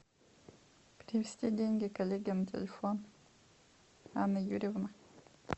перевести деньги коллеге на телефон анна юрьевна